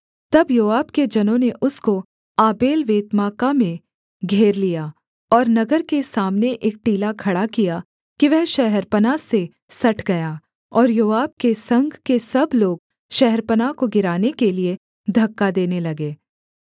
तब योआब के जनों ने उसको आबेल्वेत्माका में घेर लिया और नगर के सामने एक टीला खड़ा किया कि वह शहरपनाह से सट गया और योआब के संग के सब लोग शहरपनाह को गिराने के लिये धक्का देने लगे